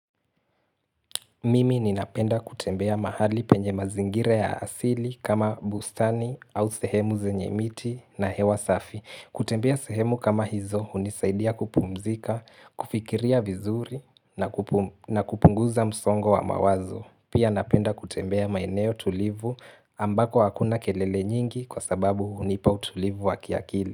Mimi ninapenda kutembea mahali penye mazingira ya asili kama bustani au sehemu zenye miti na hewa safi kutembea sehemu kama hizo hunisaidia kupumzika, kufikiria vizuri na kupum na kupunguza msongo wa mawazo Pia napenda kutembea maeneo tulivu ambako hakuna kelele nyingi kwa sababu hunipa utulivu wa kiakili.